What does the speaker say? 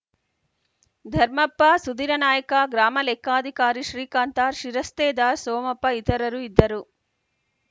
ಧರ್ಮಪ್ಪ ಸುಧಿರನಾಯ್ಕ ಗ್ರಾಮಲೆಕ್ಕಾಧಿಕಾರಿ ಶ್ರೀಕಾಂತ ಶಿರಸ್ತೇದಾರ್‌ ಸೋಮಪ್ಪ ಇತರರು ಇದ್ದರು